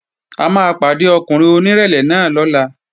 A máa pàdé ọkùnrin onírẹ̀lẹ̀ náà lọ́la